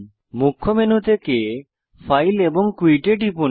মুখ্য মেনু থেকে ফাইল এবং কুইট এ টিপুন